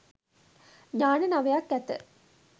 ඥාන නවයක් ඇත.